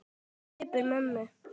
Svipur mömmu